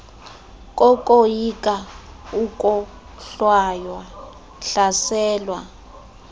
kokoyika ukohlwaywa hlaselwa